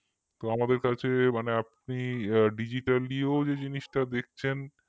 তো আমাদের কাছে মানে আপনি digitally ও যে জিনিসটা দেখছেন